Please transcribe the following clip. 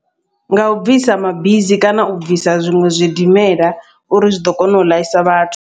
Ngau bvisa mabisi kana u bvisa zwiṅwe zwidimela, uri zwiḓo kona u ḽaisa vhathu.